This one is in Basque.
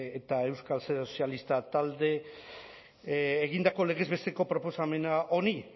eta euskal sozialistak taldeek egindako legez besteko proposamen honi